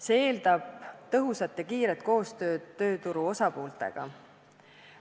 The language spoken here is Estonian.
See eeldab tõhusat ja kiiret koostööd tööturu osapooltega.